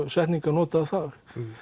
setningar notaðar þar